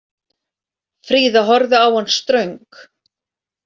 Fríða horfði á hann ströng.